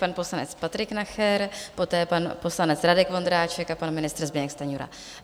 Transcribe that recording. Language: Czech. Pan poslanec Patrik Nacher, poté pan poslanec Radek Vondráček a pan ministr Zbyněk Stanjura.